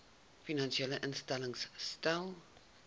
finansiële instellings stel